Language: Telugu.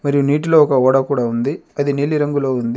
మరియు నీటిలో ఒక ఓడ కూడా ఉంది అది నీలిరంగులో ఉంది.